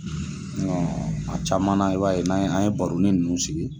a caman na i b'a ye n'an ye baroni nunnu sigi